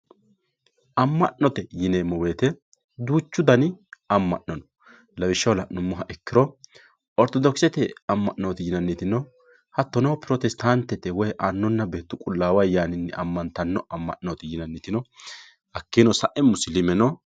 amma'note yineemo woyiite duuchu dani amma'no no lawishshaho la'numoha ikkiro ortodokisete amma'nooti yinanniti no hattono protestaantete woye annunna beetu qulaawu ayaaninni amantanno amma'nooti yinanniti no hakkino sa"e musiliime no.